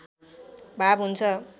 भाव हुन्छ